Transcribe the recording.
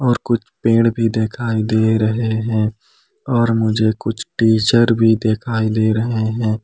और कुछ पेड़ भी दिखाई दे रहे हैं और मुझे कुछ टीचर भी दिखाई दे रहे हैं।